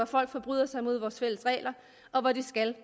folk forbryder sig mod vores fælles regler og hvor de skal